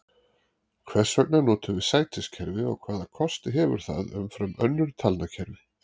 Hvers vegna notum við sætiskerfi og hvaða kosti hefur það umfram önnur talnakerfi?